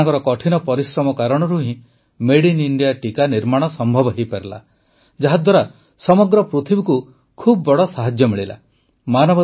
ସେମାନଙ୍କର କଠିନ ପରିଶ୍ରମ କାରଣରୁ ହିଁ ମେଡ୍ ଇନ୍ ଇଣ୍ଡିଆ ଟିକା ନିର୍ମାଣ ସମ୍ଭବ ହୋଇପାରିଲା ଯାହାଦ୍ୱାରା ସମଗ୍ର ପୃଥିବୀକୁ ବହୁତ ବଡ଼ ସାହାଯ୍ୟ ମିଳିଲା